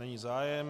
Není zájem.